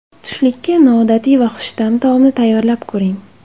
Tushlikka noodatiy va xushta’m taomni tayyorlab ko‘ring.